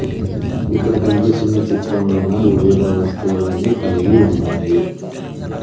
ఇక్కడ కనిపిస్తున్న చిత్రం లోనా వివిధ వస్తువులు అన్ని కలిగి ఉన్నాయి.